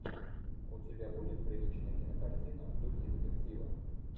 у тебя будет приличная кинокартина в духе детектива